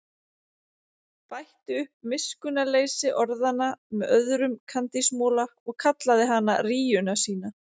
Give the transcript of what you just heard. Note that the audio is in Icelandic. Bætti upp miskunnarleysi orðanna með öðrum kandísmola og kallaði hana rýjuna sína.